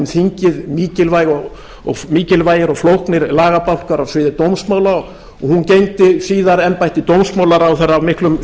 þingið mikilvægir og flóknir lagabálkar á sviði dómsmála og hún gegndi síðar embætti dómsmálaráðherra af miklum